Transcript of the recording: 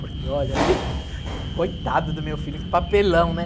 Porque olha, tem... Coitado do meu filho, que papelão, né?